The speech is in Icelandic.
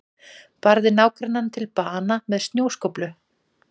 Barði nágrannann til bana með snjóskóflu